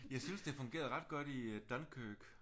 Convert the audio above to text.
Jeg syntes det fungerede ret godt i Dunkirk